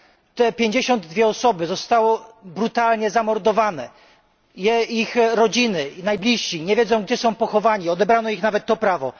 Te 52 osoby zostały brutalnie zamordowane, ich rodziny, najbliżsi nie wiedzą, gdzie zostały pochowane odebrano im nawet to prawo.